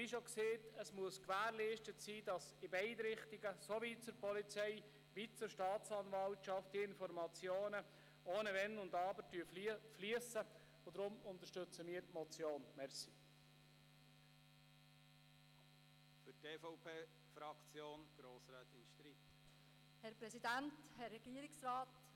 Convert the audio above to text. Es muss aber gewährleistet sein, dass die Informationen ohne Wenn und Aber in beide Richtungen fliessen, sowohl zur Staatsanwaltschaft als auch zur Polizei, wie bereits gesagt.